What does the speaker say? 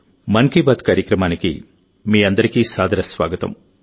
మన్ కీ బాత్ కార్యక్రమానికి మీ అందరికీ సాదర స్వాగతం